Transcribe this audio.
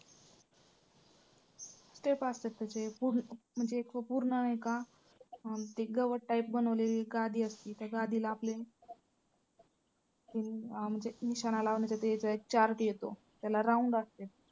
step असत्यात त्याचे पूर्ण म्हणजे पूर्ण नाही का अं ती गवत type बनवलेली गादी असते. त्या गादीला आपले म्हणजे निशाणा लावण्यासाठी याचा एक chart येतो त्याला round असतंय.